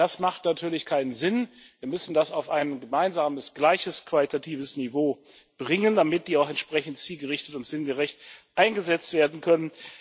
Das macht natürlich keinen Sinn. Wir müssen das auf ein gemeinsames, gleiches qualitatives Niveau bringen, damit die auch entsprechend zielgerichtet und sinngerecht eingesetzt werden können.